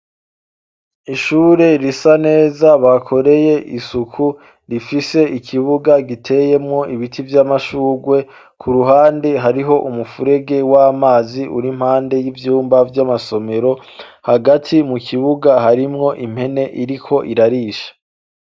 Ishure risa neza bakoreye isuku rifise ikibuga giteyemwo ibiti vy'amashurwe ku ruhande hariho umupfurege w'amazi uri mpande y'ivyumba vy'amasomero hagati mu kibuga harimwo impene iriko irarisha.